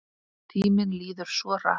Tíminn líður svo hratt!